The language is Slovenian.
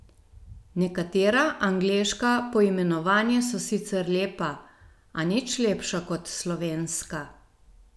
Nekatera angleška poimenovanja so sicer lepa, a nič lepša kot slovenska.